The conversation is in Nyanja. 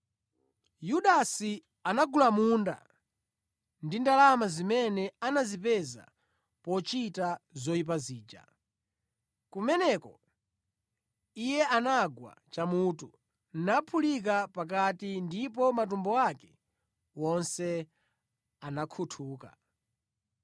(Yudasi anagula munda ndi ndalama zimene anazipeza pochita zoyipa zija; kumeneko, iye anagwa chamutu, naphulika pakati ndipo matumbo ake wonse anakhuthuka.